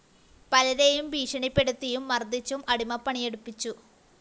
പലരെയും ഭീഷണിപ്പെടുത്തിയും മര്‍ദ്ദിച്ചും അടിമപ്പണിയെടുപ്പിച്ചു